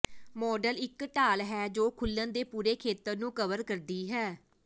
model ਇੱਕ ਢਾਲ ਹੈ ਜੋ ਖੁੱਲਣ ਦੇ ਪੂਰੇ ਖੇਤਰ ਨੂੰ ਕਵਰ ਕਰਦੀ ਹੈ